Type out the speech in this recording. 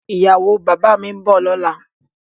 Ìyàwó bàbá mi ń bọ̀ lọ́la